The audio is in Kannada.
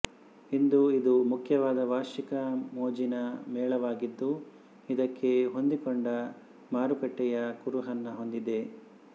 ಇಂದು ಇದು ಮುಖ್ಯವಾಗಿ ವಾರ್ಷಿಕ ಮೋಜಿನ ಮೇಳವಾಗಿದ್ದು ಇದಕ್ಕೆ ಹೊಂದಿಕೊಂಡ ಮಾರುಕಟ್ಟೆಯ ಕುರುಹನ್ನು ಹೊಂದಿದೆ